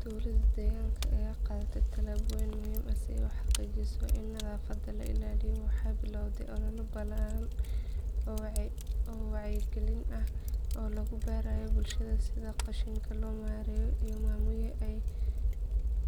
Dowladda deegaanka ayaa qaaday tallaabooyin muhiim ah si ay u xaqiijiso in nadaafadda la ilaaliyo. Waxay bilowday olole ballaaran oo wacyigelin ah oo lagu barayo bulshada sida qashinka loo maareeyo